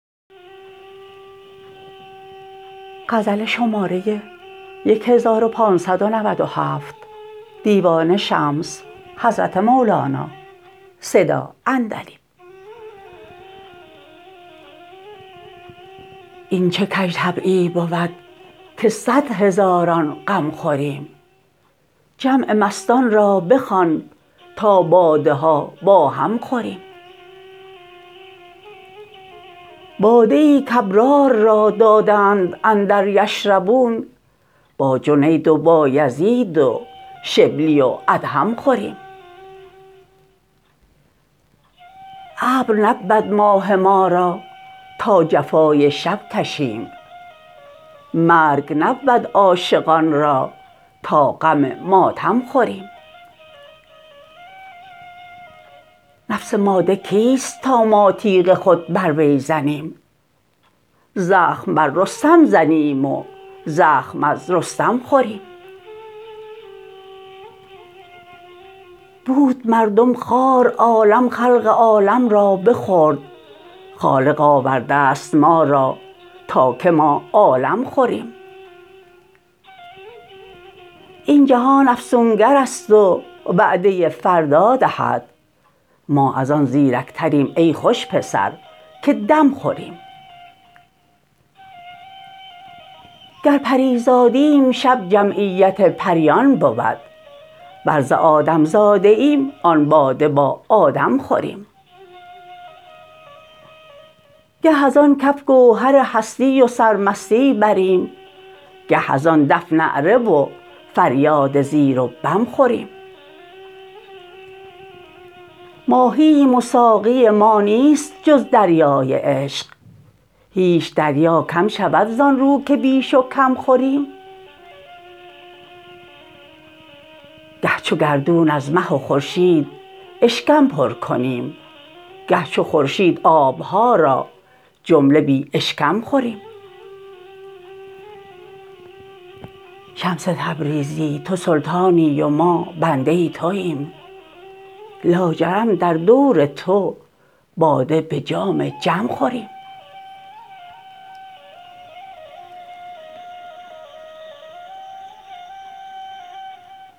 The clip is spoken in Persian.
این چه کژطبعی بود که صد هزاران غم خوریم جمع مستان را بخوان تا باده ها با هم خوریم باده ای کابرار را دادند اندر یشربون با جنید و بایزید و شبلی و ادهم خوریم ابر نبود ماه ما را تا جفای شب کشیم مرگ نبود عاشقان را تا غم ماتم خوریم نفس ماده کیست تا ما تیغ خود بر وی زنیم زخم بر رستم زنیم و زخم از رستم خوریم بود مردم خوار عالم خلق عالم را بخورد خالق آورده ست ما را تا که ما عالم خوریم این جهان افسونگرست و وعده فردا دهد ما از آن زیرکتریم ای خوش پسر که دم خوریم گر پری زادیم شب جمعیت پریان بود ور ز آدم زاده ایم آن باده با آدم خوریم گه از آن کف گوهر هستی و سرمستی بریم گه از آن دف نعره و فریاد زیر و بم خوریم ماهییم و ساقی ما نیست جز دریای عشق هیچ دریا کم شود زان رو که بیش و کم خوریم گه چو گردون از مه و خورشید اشکم پر کنیم گر چو خورشید آب ها را جمله بی اشکم خوریم شمس تبریزی تو سلطانی و ما بنده توییم لاجرم در دور تو باده به جام جم خوریم